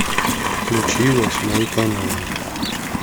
включи восьмой канал